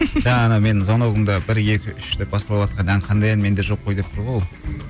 жаңағы менің звоногымда бір екі үш деп басталыватқан ән қандай ән менде жоқ қой деп тұр ғой ол